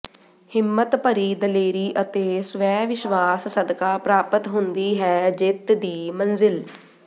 ਹਿੰਮਤ ਭਰੀ ਦਲੇਰੀ ਅਤੇ ਸਵੈ ਵਿਸ਼ਵਾਸ ਸਦਕਾ ਪ੍ਰਾਪਤ ਹੁੰਦੀ ਹੈ ਜਿੱਤ ਦੀ ਮੰਜ਼ਿਲ